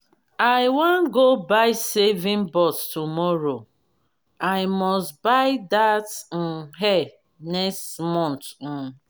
i wan go buy saving box tomorrow. i must buy dat um hair next month um